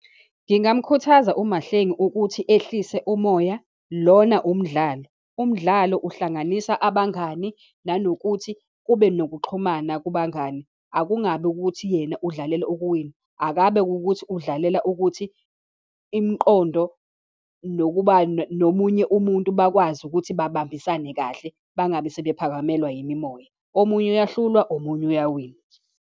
Ngingamkhuthaza uMahlengi ukuthi ehlise umoya, lona umdlalo. Umdlalo uhlanganisa abangani, nanokuthi kube nokuxhumana kubangani. Akungabi ukuthi yena udlalela ukuwina, akabe wukuthi udlalela ukuthi imiqondo nokuba nomunye umuntu bakwazi ukuthi babambisane kahle, bangabe sebephakamelwa yimimoya. Omunye uyahlulwa, omunye iyawina.